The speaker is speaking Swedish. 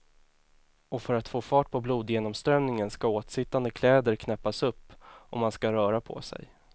Och för att få fart på blodgenomströmningen ska åtsittande kläder knäppas upp och man ska röra på sig.